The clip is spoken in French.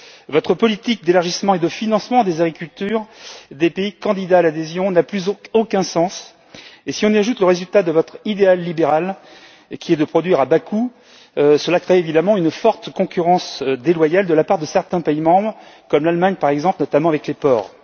Votre politique d'élargissement et de financement des agricultures des pays candidats à l'adhésion n'a plus aucun sens et si on y ajoute le résultat de votre idéal libéral qui est de produire à bas coût, cela crée évidemment une forte concurrence déloyale de la part de certains pays membres, comme l'Allemagne par exemple, notamment avec les porcs.